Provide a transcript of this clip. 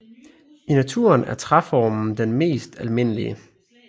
I naturen er træformen den mest almindelige